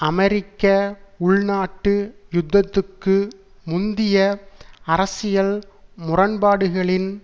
அமெரிக்க உள்நாட்டு யுத்தத்துக்கு முந்திய அரசியல் முரண்பாடுகளின்